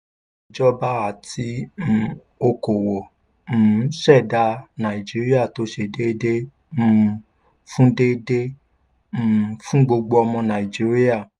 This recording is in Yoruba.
ìjọba àti um okoòwò um ṣẹdá nàìjíríà tó ṣe déédéé um fún déédéé um fún gbogbo ọmọ nàìjíríà.